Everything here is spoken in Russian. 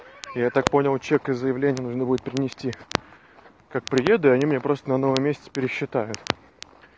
я так понял чек и заявление нужно будет принести как приеду они мне просто на новом месте пересчитают